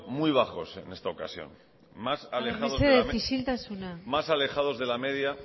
muy bajos en esta ocasión haber mesedez isiltasuna más alejados de la media